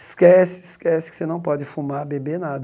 Esquece, esquece que você não pode fumar, beber nada.